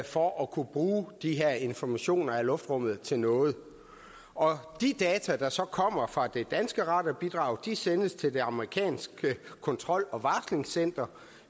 for at kunne bruge de her informationer fra luftrummet til noget og de data der så kommer fra det danske radarbidrag sendes til det amerikanske kontrol og varslingscenter